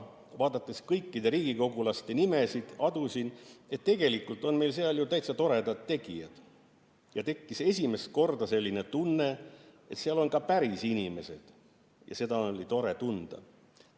Vaadates kõikide riigikogulaste nimesid, adusin, et tegelikult on meil seal ju täitsa toredad tegijad, ja tekkis esimest korda selline tunne, et seal on ka päris inimesed, ja seda oli tore tunda.